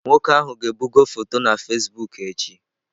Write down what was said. Nwoke ahụ ga-ebugo foto na Fasibụk echi.